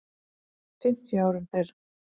fimmtíu árum fyrr.